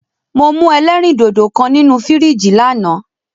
Mo mú ẹlẹ́rìndòdò kan nínu fìríjìì lánàá.